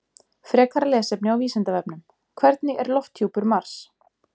Frekara lesefni á Vísindavefnum Hvernig er lofthjúpur Mars?